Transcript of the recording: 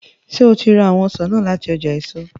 Ṣe o ra awọn ọsan naa lati ọja eso?